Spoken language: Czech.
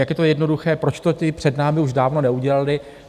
Jak je to jednoduché, proč to ti před námi už dávno neudělali.